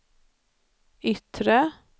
yttre